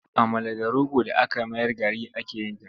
Amala da rogo d aka mayar gari ake yin ta.